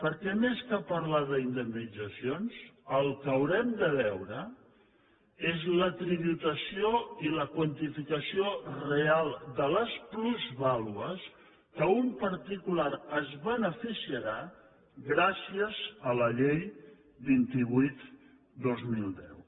perquè més que parlar d’indemnitzacions el que haurem de veure és la tributació i la quantificació real de les plusvàlues de què un particular es beneficiarà gràcies a la llei vint vuit dos mil deu